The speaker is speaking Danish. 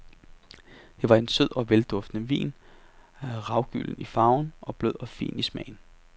Det var en sød og velduftende vin, ravgylden i farven og blød og fin i smagen.